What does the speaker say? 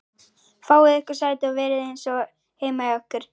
Fáið ykkur sæti og verið eins og heima hjá ykkur!